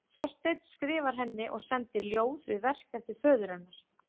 Þorsteinn skrifar henni og sendir ljóð við verk eftir föður hennar.